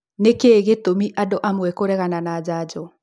Nĩkĩĩ gĩtũmi andũamwe kũregana na njanjo?